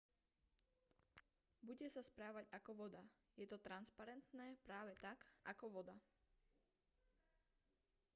bude sa správať ako voda je to transparentné práve tak ako voda